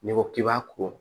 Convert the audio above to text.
N'i ko k'i b'a ko